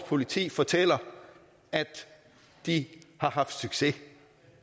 politi fortæller at de har haft succes